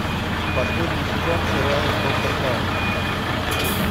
последний сезон сериал доктор хаус